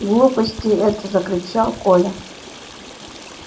глупости это закричал коля